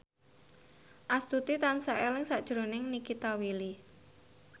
Astuti tansah eling sakjroning Nikita Willy